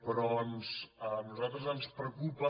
però a nosaltres ens preocupa